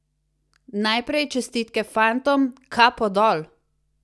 Najprej čestitke fantom, kapo dol!